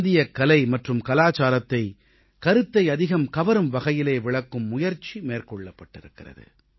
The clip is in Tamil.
இந்தியக் கலை மற்றும் கலாச்சாரத்தை கருத்தை அதிகம் கவரும் வகையிலே விளக்கும் முயற்சி மேற்கொள்ளப்பட்டு இருக்கிறது